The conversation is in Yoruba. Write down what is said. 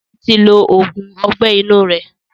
Sọlá tí lo oògùn Ọgbẹ́ inú rẹ̀